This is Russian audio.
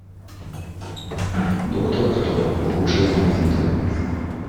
доктор кто лучшие моменты